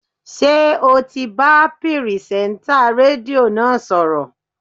Ṣé ò ti bá pìrìsẹ́ńtà rédíò náà sọ̀rọ̀?